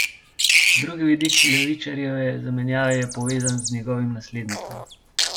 Drugi vidik Levičarjeve zamenjave je povezan z njegovim naslednikom.